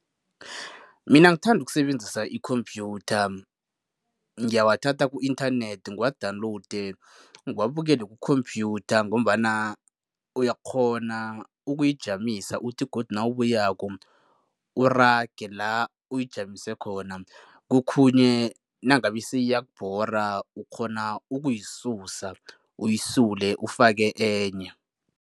Mina ngithanda ukusebenzisa ikhomphyutha. Ngiyawathatha ku-inthanethi, ngiwa-download, ngiwabukele kukhomphyutha ngombana uyakghona ukuyijamisa uthi godu nawubuyako, urage la uyijamise khona. Kokhunye nangabe seyiyakubhora ukghona ukuyisusa, uyisule, ufake enye.